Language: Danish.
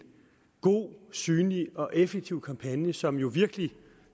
god synlig og effektiv kampagne som jo virkelig